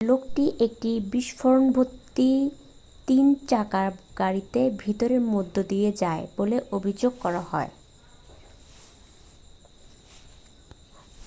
লোকটি একটি বিস্ফোরকভর্তি তিন চাকার গাড়িকে ভিড়ের মধ্যে নিয়ে যায় বলে অভিযোগ করা হয়েছে